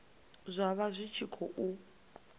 zwa vha zwi tshi khou